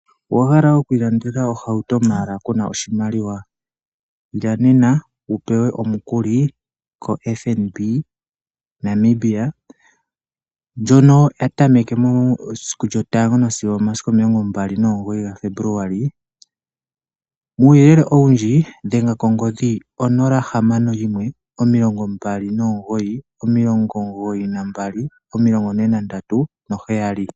Owahala okwilandela ohauto mala kuna oshimaliwa Ila nena wupewe omukuli ko FNB Namibia ndjono yatameke mesiku 1 sigo 29 Febuluali 2024 uyelele owundji dhenga kongodhi 0652992437.